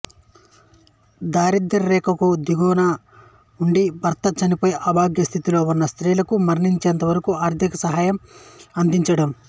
దారిద్య్ర రేఖకు దిగువన ఉండి భర్త చనిపోయి అభాగ్య స్థితిలో ఉన్న స్త్రీలకు మరణించేంతవరకు ఆర్థిక సహాయం అందించడం